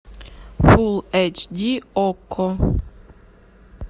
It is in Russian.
фул эйч ди окко